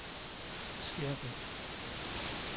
Skærbæk